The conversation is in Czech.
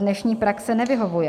Dnešní praxe nevyhovuje.